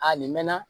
A nin mɛɛnna